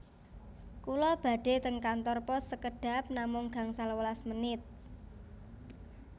Kula badhe ten kantor pos sekedhap namung gangsal welas menit